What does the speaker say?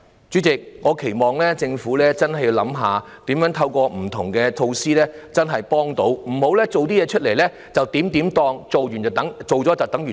主席，我期望政府真的要思索一下，如何透過不同的措施提供有效的協助，不要只做了少許事便當作是做完了所有事。